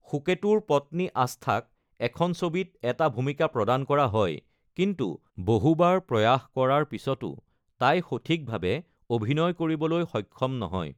সুকেতুৰ পত্নী আস্থাক এখন ছবিত এটা ভূমিকা প্ৰদান কৰা হয়, কিন্তু বহুবাৰ প্ৰয়াস কৰাৰ পিছতো তাই সঠিকভাৱে অভিনয় কৰিবলৈ সক্ষম নহয়।